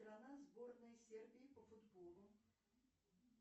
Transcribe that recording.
сборная сербии по футболу